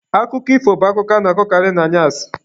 Akụkọ ifo bụ akụkọ a na-akọkarị n'anyasị